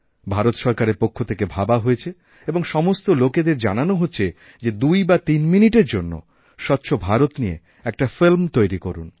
ভারত সরকারের পক্ষ থেকে ভাবা হয়েছে এবং সমস্ত লোকেদের জানানো হচ্ছেযে দুই বা তিন মিনিটের জন্য স্বচ্ছ ভারত নিয়ে একটা ফিল্ম তৈরি করুন